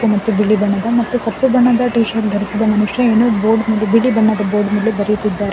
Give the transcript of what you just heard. ಮತ್ತು ಬಿಳಿ ಬಣ್ಣದ ಮತ್ತು ಕಪ್ಪು ಬಣ್ಣದ ಟೀ ಶರ್ಟ್ ಧರಿಸಿದ ಮನುಷ್ಯ ಏನೋ ಬೋರ್ಡ್ ಮೇಲೆ ಬಿಳಿ ಬಣ್ಣದ ಬೋರ್ಡ್ ಮೇಲೆ ಬರೆಯುತ್ತಿದ್ದಾನೆ.